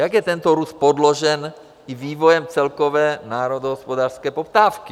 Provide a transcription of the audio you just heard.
Jak je tento růst podložen i vývojem celkové národohospodářské poptávky?